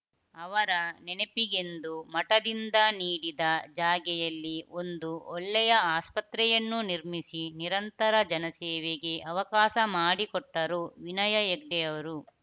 ಅವರ ನೆನಪಿಗೆಂದು ಮಠದಿಂದ ನೀಡಿದ ಜಾಗೆಯಲ್ಲಿ ಒಂದು ಒಳ್ಳೆಯ ಆಸ್ಪತ್ರೆಯನ್ನು ನಿರ್ಮಿಸಿ ನಿರಂತರ ಜನಸೇವೆಗೆ ಅವಕಾಶ ಮಾಡಿಕೊಟ್ಟರು ವಿನಯ ಹೆಗ್ಡೆಯವರು